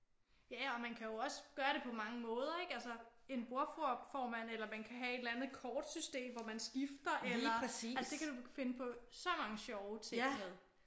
Ja og man kan jo også gøre det på mange måder ik altså? En bordformand eller man kan have et eller andet kortsystem hvor man skifter eller. Det kan du finde på så mange sjove ting med